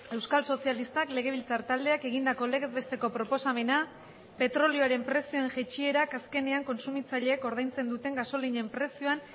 euskal sozialistak legebiltzar taldeak egindako legez besteko proposamena petrolioaren prezioen jaitsierak azkenean kontsumitzaileek ordaintzen duten gasolinen prezioan